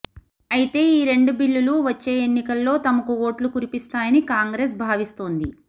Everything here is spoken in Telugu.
అయితే ఈ రెండు బిల్లులు వచ్చే ఎన్నికల్లో తమకు ఓట్లు కురిపిస్తాయని కాంగ్రెస్ భావిస్తోంది